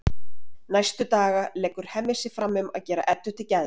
Næstu daga leggur Hemmi sig fram um að gera Eddu til geðs.